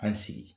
An sigi